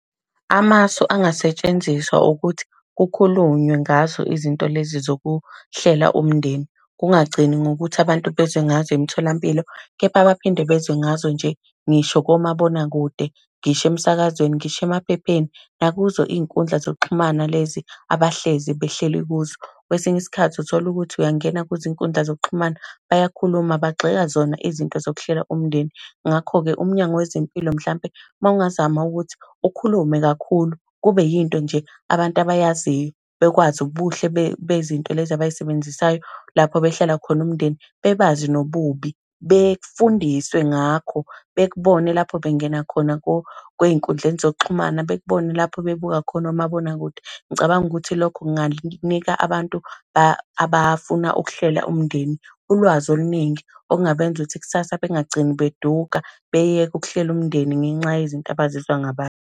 Amasu angasetshenziswa ukuthi kukhulunywe ngazo izinto lezi zokuhlela umndeni, kungagcini ngokuthi abantu bezwe ngazo emtholampilo, kepha baphinde bezwe ngazo nje ngisho komabonakude, ngisho emsakazweni, ngisho emaphepheni, nakuzo iy'nkundla zokuxhumana lezi abahlezi behleli kuzo. Kwesinye isikhathi uthola ukuthi uyangena kwizinkundla zokuxhumana, bayakhuluma bagxeka zona izinto zokuhlela umndeni. Ngakho-ke umnyango wezempilo mhlampe uma ungazama ukuthi ukhulume kakhulu, kube yinto nje abantu abayaziyo. Bekwazi ubuhle bezinto lezi abay'sebenzisayo, lapho behlela khona umndeni, bebazi nobubi, befundiswe ngakho. Bekubone lapho bengena khona ey'nkundleni zokuxhumana, bekubone lapho bebuka khona omabonakude. Ngicabanga ukuthi lokho kungakunika abantu abafuna ukuhlela umndeni ulwazi oluningi, okungabenza ukuthi kusasa bengagcini beduka, beyeke ukuhlela umndeni ngenxa yezinto abazizwa ngabantu.